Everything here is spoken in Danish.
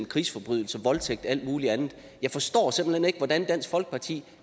krigsforbrydelser voldtægt og alt muligt andet jeg forstår simpelt hen ikke hvordan dansk folkeparti